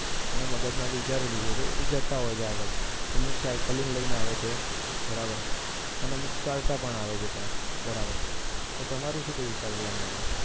મગજમાં વિચારી લીધું છે અને જતા હોય છે આગળ અમુક cycling લઈને આવે છે બરોબર અને ચાલતા પણ આવે છે ત્યાં તો તમારું શું કહેવાના પર વિશાલભાઈ